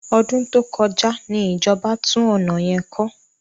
Ọdún tó kọjá ni ìjọba tún ọ̀nà yẹn kọ́.